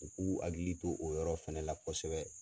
U k'u hakili to o yɔrɔ fana la kosɛbɛ.